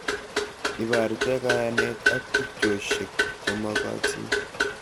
Iborte kayanet ak tubchoshek chemagatin